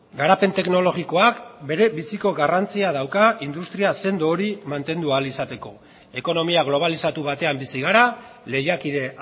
garapen teknologikoak berebiziko garrantzia dauka industria sendo hori mantendu ahal izateko ekonomia globalizatu batean bizi gara lehiakide